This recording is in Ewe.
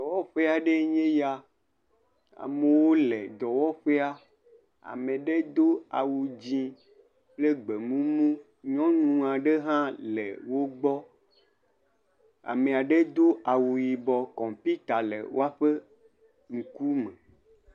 Dɔwɔƒe aɖee nye ya. Amewo le dɔwɔƒea. Ame aɖe do awu dzi kple gbemumu. Nyɔnu aɖe hã le wo gbɔ. Ame aɖe do awu yibɔ kɔmpita le woaƒe ŋkume.